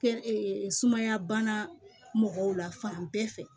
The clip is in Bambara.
Kɛ sumaya bana mɔgɔw la fan bɛɛ fɛ